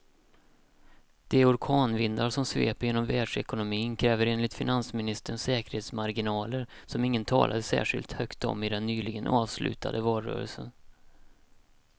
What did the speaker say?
De orkanvindar som sveper genom världsekonomin kräver enligt finansministern säkerhetsmarginaler som ingen talade särskilt högt om i den nyligen avslutade valrörelsen.